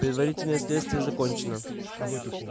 предварительное следствие закончено